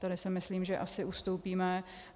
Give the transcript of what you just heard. Tady si myslím, že asi ustoupíme.